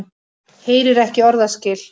Heyrir ekki orðaskil.